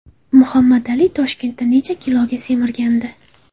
Muhammad Ali Toshkentda necha kiloga semirgandi?